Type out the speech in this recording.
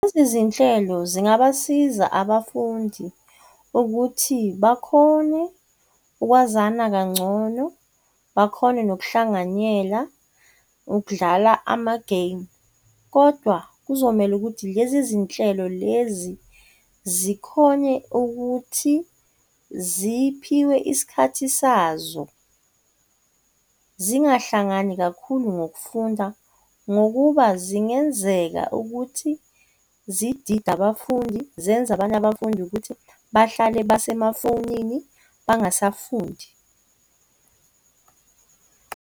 Lezi zinhlelo zingabasiza abafundi ukuthi bakhone ukwazana kangcono, bakhone nokuhlanganyela ukudlala ama-game. Kodwa kuzomele ukuthi lezi zinhlelo lezi zikhone ukuthi ziphiwe isikhathi sazo, zingahlangani kakhulu ngokufunda ngokuba zingenzeka ukuthi zidide abafundi zenze abanye abafundi ukuthi bahlale basemafonini bangasafundi.